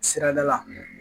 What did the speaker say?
Sirada la